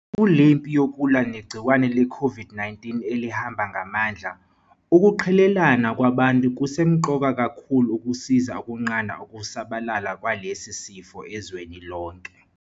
Kulempi yokulwa negciwane leCOVID -19 elihamba ngamandla, ukuqhelelana kwabantu kusemqoka kakhulu ukusiza ukunqanda ukusabalala kwalesi sifo ezweni lonke.